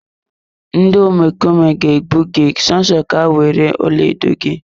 Ndị omekome ga egbu gị so so ka ha were ọlaedo gị.